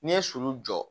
N'i ye sulu jɔ